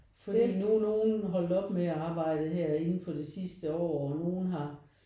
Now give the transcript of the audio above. Fordi nu er nogen holdt op med at arbejde her inden for det sidste år og nogen har